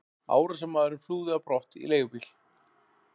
Árásarmaðurinn flúði á brott í leigubíl.